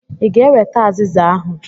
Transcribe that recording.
I ga-eweta azịza ahụ.